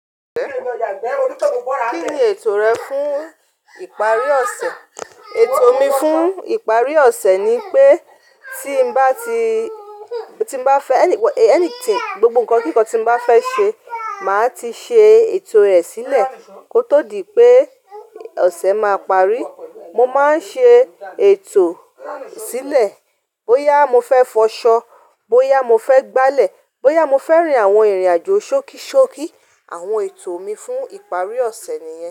Kí ni ètò rẹ fún ìparí ọ̀sẹ̀? Ètò mi fún ìparí ọ̀sẹ̀ ni pé tí bá ti, tí bá fẹ́ ẹni, anything, gbogbo ǹkan kíkan tí bá fẹ́ ṣe, màá ti ṣe ètò rẹ̀ sílẹ̀ kó tó di pé ọ̀sẹ̀ máa parí. Mo máa ń ṣe ètò sílẹ̀ bóyá mo fẹ́ fọṣọ, bóyá mo fẹ́ gbálẹ̀, bóyá mo fẹ́ rìn àwọn ìrìnàjò ṣókíṣókí. Àwọn ètò mi fún ìparí ọ̀sẹ̀ nìyẹn.